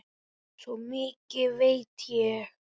Svo mikið veit ég.